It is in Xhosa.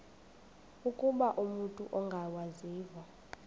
ukuba umut ongawazivo